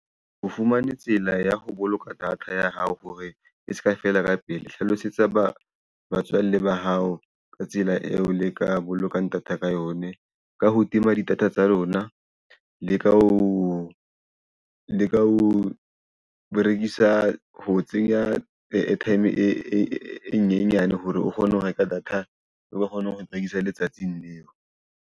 O fumane tsela ya ho boloka data ya hao hore e ska fela ka pele. Hlalosetsa batswalle ba hao ka tsela eo le ka boloka data ka yone. Ka ho tima di data tsa lona, le ka ho leka ho berekisa ho tsenya airtime e nyenyane hore o kgone ho reka data, o kgone ho rekisa letsatsing leo.